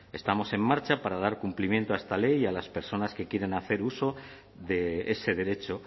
estamos en marcha para dar cumplimiento a esta ley y a las personas que quieren hacer uso de ese derecho